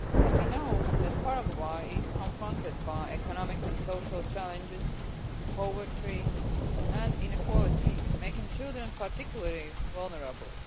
We know that Paraguay is confronted by economic and social challenges, poverty and inequality, making children particularly vulnerable.